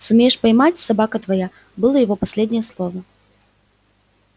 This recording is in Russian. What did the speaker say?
сумеешь поймать собака твоя было его последнее слово